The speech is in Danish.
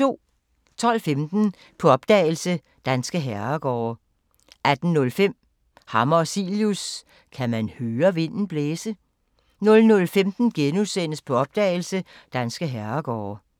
12:15: På opdagelse – Danske herregårde 18:05: Hammer og Cilius – Kan man høre vinden blæse? 00:15: På opdagelse – Danske herregårde *